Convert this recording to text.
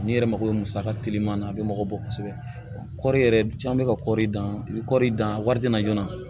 N'i yɛrɛ mago bɛ musaka teliman na a bɛ mago bɔ kosɛbɛ kɔri yɛrɛ caman bɛ ka kɔɔri dan bɛ kɔɔri dan wari tɛ na joona